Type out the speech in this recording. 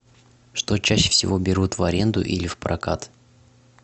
что чаще всего берут в аренду или в прокат